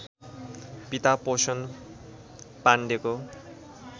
पिता पोषण पाण्डेको